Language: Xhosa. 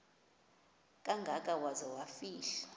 kangaka waza kufihlwa